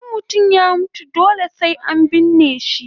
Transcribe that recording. In mutum ya mutu dole sai an binne shi